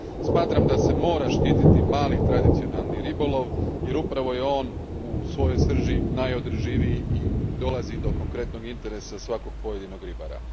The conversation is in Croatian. Smatram da se mora štititi mali tradicionalni ribolov jer upravo je on u svojoj srži najodrživiji i dolazi do konkretnog interesa svakog pojedinog ribara.